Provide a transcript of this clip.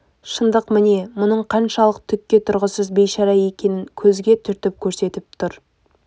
шындық міне мұның қаншалық түкке тұрғысыз бейшара екенін көзге түртіп көрсетіп тұр